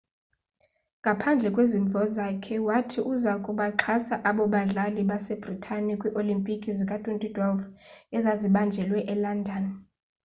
ngaphandle kwezimvo zakhe wathi uza kubaxhasa abo badlali basebritane kwii-olimpiki zika-2012 ezazibanjelwe elondon